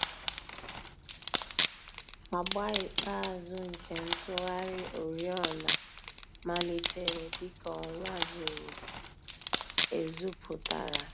Àgbà ikpeazụ̀ nke ntùghàrị̀ òrìọ̀nà màlítèrè dị̀ka ọnwà zùrù èzù pụtara.